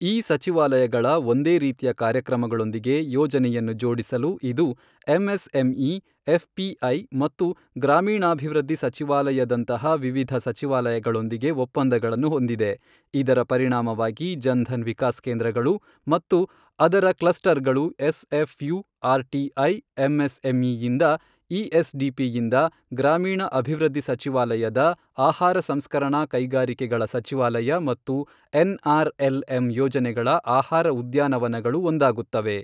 ಈ ಸಚಿವಾಲಯಗಳ ಒಂದೇ ರೀತಿಯ ಕಾರ್ಯಕ್ರಮಗಳೊಂದಿಗೆ ಯೋಜನೆಯನ್ನು ಜೋಡಿಸಲು ಇದು ಎಂಎಸ್ಎಂಇ, ಎಫ್ ಪಿ ಐ ಮತ್ತು ಗ್ರಾಮೀಣಾಭಿವೃದ್ಧಿ ಸಚಿವಾಲಯದಂತಹ ವಿವಿಧ ಸಚಿವಾಲಯಗಳೊಂದಿಗೆ ಒಪ್ಪಂದಗಳನ್ನು ಹೊಂದಿದೆ, ಇದರ ಪರಿಣಾಮವಾಗಿ ಜನ್ ಧನ್ ವಿಕಾಸ್ ಕೇಂದ್ರಗಳು ಮತ್ತು ಅದರ ಕ್ಲಸ್ಟರ್ಗಳು S F U R T I, M S M E ಯಿಂದ ಇ ಎಸ್ ಡಿ ಪಿ ಯಿಂದ, ಗ್ರಾಮೀಣ ಅಭಿವೃದ್ಧಿ ಸಚಿವಾಲಯದ, ಆಹಾರ ಸಂಸ್ಕರಣಾ ಕೈಗಾರಿಕೆಗಳ ಸಚಿವಾಲಯ ಮತ್ತು ಎನ್ ಆರ್ ಎಲ್ ಎಮ್ ಯೋಜನೆಗಳ ಆಹಾರ ಉದ್ಯಾನವನಗಳು ಒಂದಾಗುತ್ತವೆ.